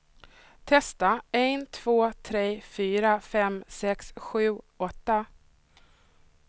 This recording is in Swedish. Testar en två tre fyra fem sex sju åtta.